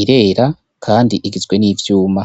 irera, kandi igizwe n'ivyuma.